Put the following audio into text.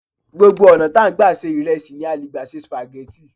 Gbogbo ọ̀nà tí a n gba se ìrẹsì ni a leè gbà se spaghetti